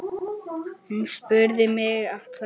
Hún spurði mig af hverju?